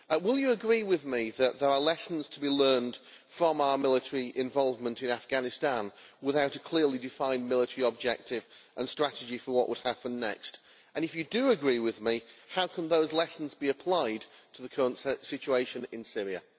Will you agree with me that there are lessons to be learned from our military involvement in Afghanistan without a clearly defined military objective and strategy for what would happen next? If you do agree with me, how can those lessons be applied to the current situation in Syria?